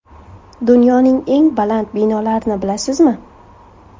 Dunyoning eng baland binolarini bilasizmi?.